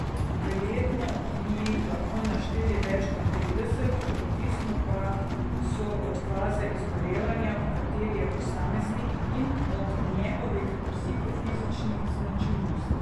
Verjetno bi jih lahko našteli več kot trideset, odvisni pa so od faze izgorevanja, v kateri je posameznik, in od njegovih psihofizičnih značilnosti.